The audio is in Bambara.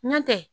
N'o tɛ